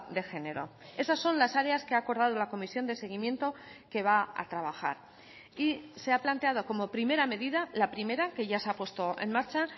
de género esas son las áreas que ha acordado la comisión de seguimiento que va a trabajar y se ha planteado como primera medida la primera que ya se ha puesto en marcha